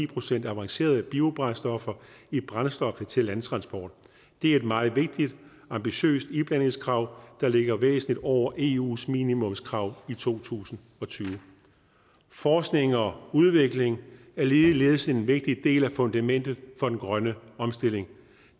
procent avancerede biobrændstoffer i brændstoffet til landtransport det er et meget vigtigt og ambitiøst iblandingskrav der ligger væsentligt over eus minimumskrav i to tusind og tyve forskning og udvikling er ligeledes en vigtig del af fundamentet for den grønne omstilling